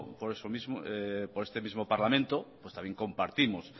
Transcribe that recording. por este mismo parlamento también compartimos